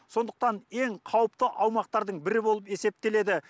сондықтан ең қауіпті аумақтардың бірі болып есептеледі